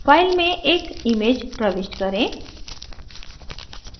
file में एक image प्रविष्ट करें